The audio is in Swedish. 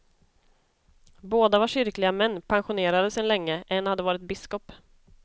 Båda var kyrkliga män, pensionerade sedan länge, en hade varit biskop.